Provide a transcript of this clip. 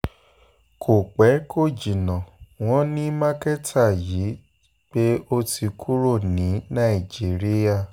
kò pẹ́ kò um jìnnà wọ́n ní mákẹ́tà yìí ní pẹ́ọ̀lù pé ó ti kúrò ní nàìjíríà um